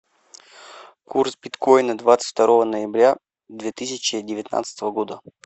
курс биткоина двадцать второго ноября две тысячи девятнадцатого года